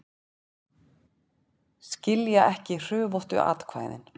Skilja ekki hrufóttu atkvæðin